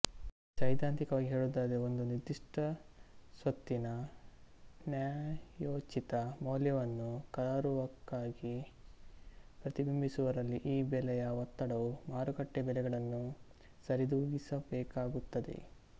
ಸೈದ್ಧಾಂತಿಕವಾಗಿ ಹೇಳುವುದಾದರೆ ಒಂದು ನಿರ್ದಿಷ್ಟ ಸ್ವತ್ತಿನ ನ್ಯಾಯೋಚಿತ ಮೌಲ್ಯವನ್ನು ಕರಾರುವಾಕ್ಕಾಗಿ ಪ್ರತಿಬಿಂಬಿಸುವಲ್ಲಿ ಈ ಬೆಲೆಯ ಒತ್ತಡವು ಮಾರುಕಟ್ಟೆ ಬೆಲೆಗಳನ್ನು ಸರಿದೂಗಿಸಬೇಕಾಗುತ್ತದೆ